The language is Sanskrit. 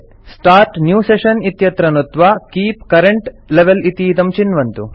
स्टार्ट् न्यू सेशन इत्यत्र नुत्त्वा कीप करेंट लेवेल इतीदं चिन्वन्तु